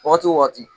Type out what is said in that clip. Wagati wo wagati